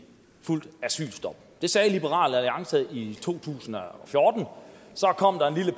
asylstop det sagde liberal alliance i to tusind og fjorten så kom